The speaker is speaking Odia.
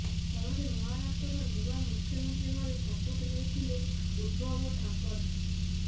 ଫଳରେ ମହାରାଷ୍ଟ୍ରର ନୂଆ ମୁଖ୍ୟମନ୍ତ୍ରୀ ଭାବେ ଶପଥ ନେଇଥିଲେ ଉଦ୍ଧବ ଠାକରେ